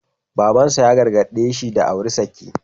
Baban sa ya gargaɗe shi da auri saki.